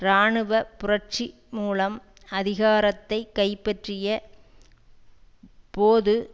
இராணுவ புரட்சி மூலம் அதிகாரத்தை கைப்பற்றிய போது